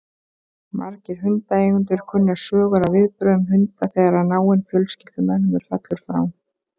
Margir hundaeigendur kunna sögur af viðbrögðum hunda þegar náinn fjölskyldumeðlimur fellur frá.